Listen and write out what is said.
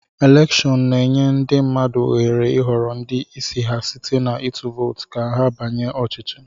Elèkshón na-enye ndị mmadụ ohere ịhọrọ ndị isi ha site na ịtụ vootu ka ha banye ọchịchị